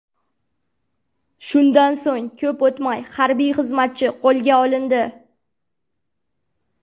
Shundan so‘ng ko‘p o‘tmay harbiy xizmatchi qo‘lga olindi.